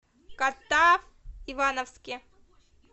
катав ивановске